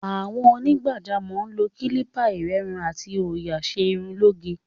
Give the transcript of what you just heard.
Àwọn onígbàjámọ̀ ń lo kílíbà, ìrẹ́run àti òòyà ṣe irun lóge.